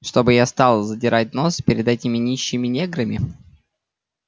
чтоб я стал задирать нос перед этими нищими неграми